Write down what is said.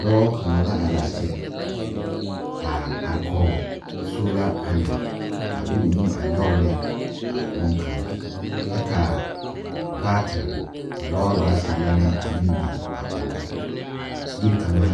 Dɔɔ kaŋa la are a kyɛ, aa are kɔge soola panɛl a de o nu a nyɔge ne a boŋkaŋa kyɛ ka baatere, ka lɔɔre baatere la meŋ biŋ kɔge o yiri kaŋa